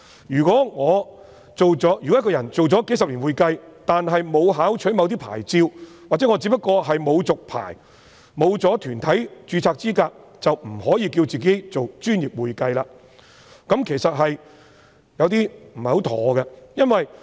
如果一個人從事會計工作數十年，但沒有考取某些牌照，或他只不過是沒有續牌，沒有團體註冊資格，便不可以自稱為"專業會計"，這其實有點不妥。